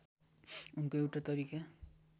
उनको एउटा तरिका